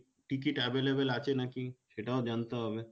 ticket available আছে নাকি সেটাও জানতে হবে